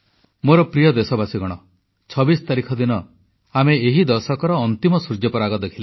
ମୋର ପ୍ରିୟ ଦେଶବାସୀ 26 ତାରିଖ ଦିନ ଆମେ ଏହି ଦଶକର ଅନ୍ତିମ ସୂର୍ଯ୍ୟପରାଗ ଦେଖିଲେ